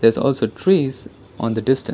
is also trees on the distance.